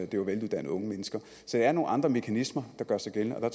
det var veluddannede unge mennesker så det er nogle andre mekanismer der gør sig gældende og